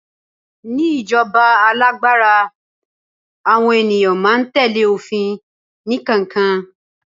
ní ijoba alágbára, àwọn ènìyàn ma n tẹle ofin ni kankan